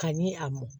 Ka ɲi a mɔn